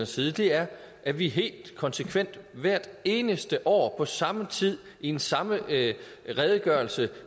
side er at vi helt konsekvent hvert eneste år på samme tid i den samme redegørelse